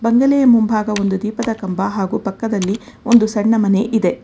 ಒಂದನೇ ಮುಂಭಾಗ ಒಂದು ದೀಪದ ಕಂಬ ಹಾಗೂ ಪಕ್ಕದಲ್ಲಿ ಒಂದು ಸಣ್ಣ ಮನೆ ಇದೆ.